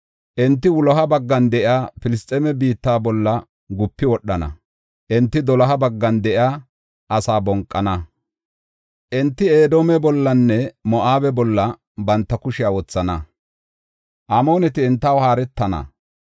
Enti wuloha baggan de7iya Filisxeeme biitta bolla gupi wodhana; enti doloha baggan de7iya asaa bonqana. Enti Edoome bollanne Moo7abe bolla banta kushiya wothana; Amooneti entaw haaretana.